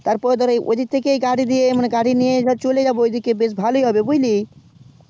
তার পর ধর ওই দিক থেকে চলে যাবো বেশ ভালোই হবে বুঝলি